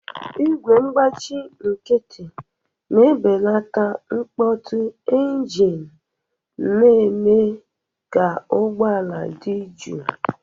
Igwe ngbachi nkịtị na-ebelata mkpọtụ engine, na-eme ka ụgbọ ala dị jụụ.